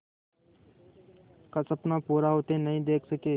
का सपना पूरा होते नहीं देख सके